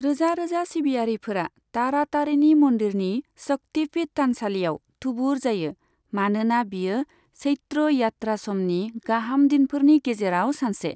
रोजा रोजा सिबियारिफोरा तारातारिणी मन्दिरनि शक्ति पीठ थानसालियाव थुबुर जायो, मानोना बियो चैत्र यात्रा समनि गाहाम दिनफोरनि गेजेराव सानसे।